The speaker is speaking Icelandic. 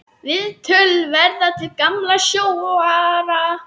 Viðtöl verða við gamla sjóara.